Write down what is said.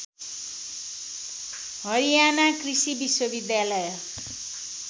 हरियाना कृषि विश्वविद्यालय